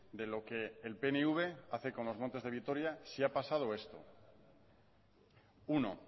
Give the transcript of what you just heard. de lo que el pnv hace con los montes de vitoria si ha pasado esto uno